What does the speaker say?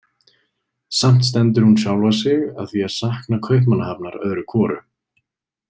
Samt stendur hún sjálfa sig að því að sakna Kaupmannahafnar öðru hvoru.